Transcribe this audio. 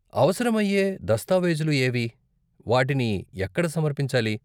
అవసరమయ్యే దస్తావేజులు ఏవి, వాటిని ఎక్కడ సమర్పించాలి?